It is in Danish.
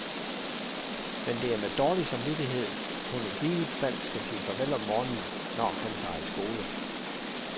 Men det er med dårlig samvittighed, hun i givet fald skal sige farvel om morgenen når han tager i skole.